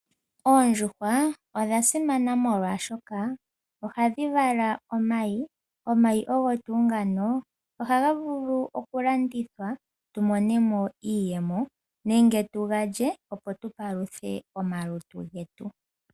Oondjuhwa odha simana molwaashoka ohadhi vala omayi. Omayi ogo tuu ngano ohaga vulu okulandithwa tu mone mo iiyemo nenge tuga lye opo tupaluthe omalutu getu.